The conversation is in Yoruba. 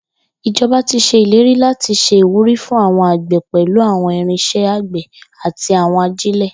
Ijọba ti ṣe ileri lati ṣe iwuri fun awọn agbe pẹlu awọn irinṣẹ agbe ati awọn ajile.